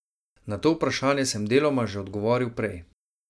Na to vprašanje sem deloma že odgovoril prej.